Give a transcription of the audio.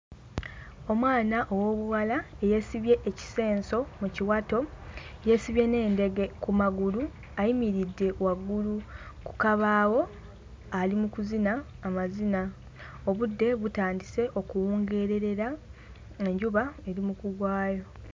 Omwana ow'obuwala yeesibye ekisenso mu kiwato, yeesibye n'endege ku magulu ayimiridde waggulu ku kabaawo, ali mu kuzina amazina. Obudde butandise okuwungeererera, enjuba eri mu kugwayo.